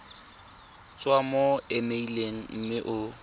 tswa mo emeileng mme o